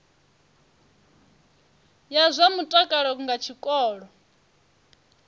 ya zwa mutakalo nga tshikolo